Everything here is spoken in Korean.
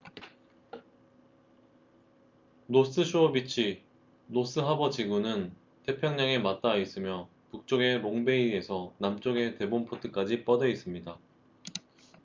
노스 쇼어 비치노스 하버 지구는 태평양에 맞다아 있으며 북쪽의 롱베이에서 남쪽의 데본포트까지 뻗어있습니다